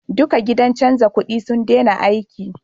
Duka gidan canja kudi sun dena aiki